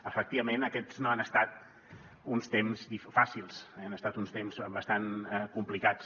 efectivament aquests no han estat uns temps fàcils han estat uns temps bastant complicats